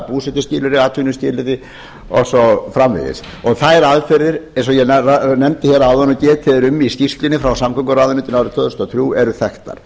búsetuskilyrði atvinnuskilyrði og svo framvegis og þær aðferðir sem ég nefndi áðan og getið er um í skýrslunni frá samgönguráðuneytinu fyrir árið tvö þúsund og þrjú eru þekktar